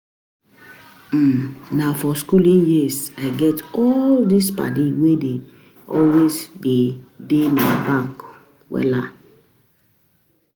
um Na for skooling years I get all these paddy wey dey always dey dey my back. um